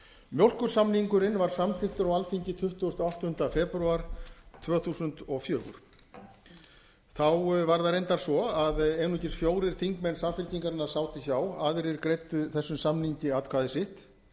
mjólkursamningurinn var samþykktur á alþingi tuttugasta og áttunda febrúar tvö þúsund og fjögur þá var það reyndar svo að einungis fjórir þingmenn samfylkingarinnar sátu hjá aðrir greiddu þessum samningi atkvæði sitt